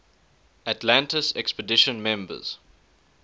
atlantis expedition members